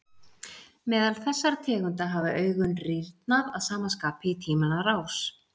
Meðal þessara tegunda hafa augun rýrnað að sama skapi í tímans rás.